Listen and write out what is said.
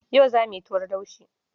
Yau za mu yi tuwon laushi.